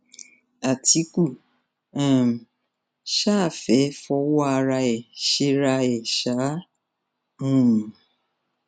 àtìkù um sá fẹẹ fọwọ ara ẹ ṣera ẹ ṣáá um